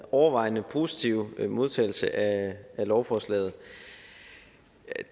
overvejende positive modtagelse af lovforslaget